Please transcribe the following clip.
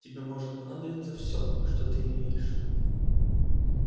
тебе может понадобиться все что ты имеешь